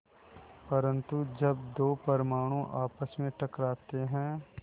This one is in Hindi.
परन्तु जब दो परमाणु आपस में टकराते हैं